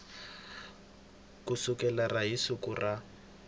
ku sukela hi siku ra